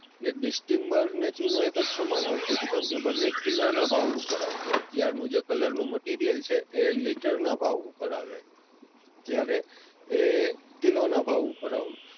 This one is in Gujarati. અને distember અને ચૂનો બન્ને એક જ સમાન આવતો, બન્ને કિલો ના ભાવ ઉપર આવતો. અત્યાર નું જે colour નું material છે એ લિટર ના ભાવ ઉપર આવે, ત્યારે એ કિલો ના ભાવ ઉપર આવતો.